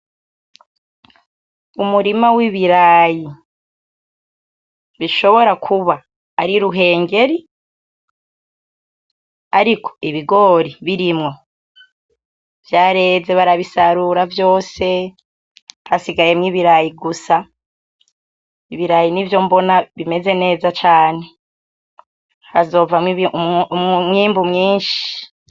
Umurima w'ibirayi bishobora kuba ari ruhengeri ariko ibigori birimwo vyareze barabisarura vyose hasigayemwo ibirayi gusa, ibirayi n'ivyo mbona bimeze neza cane hazovamwo umwimbu mwinshi.